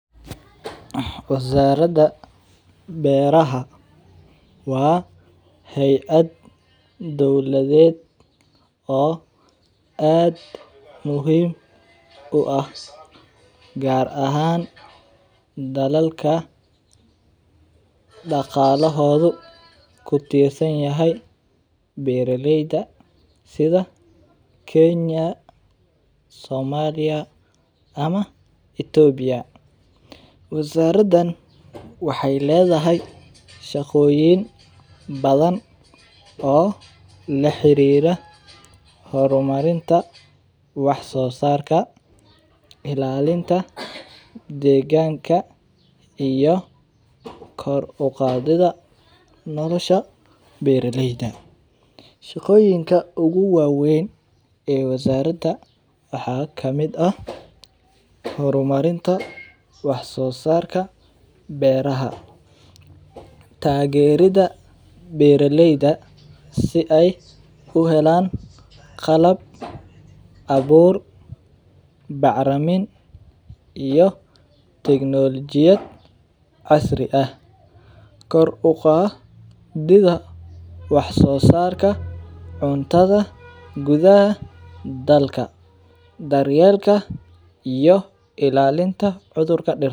Wazarada beeraha waa heyad doladed aad muhiim u ah gar ahan dalalka daqalahodhu kutirsan yahay beera leydu kenya somaliya ithopia tan waxee ledhahay shaqoyin badan oo la xirira qebita wax sosarka ilalinta deganka iyo kor uqadidha nolosha beera leyda shaqoyinka ogu wawen ee wazarada waxaa kamiid ah hor marinta wax sosarka beeraha tagerida beera leyda si ee u helan qalab abur bacramin iyo tiknologiyaada casri ah kor u qadidha wax sosarka cuntadha dalka daryelka iyo ilalinta cudhurka dirta.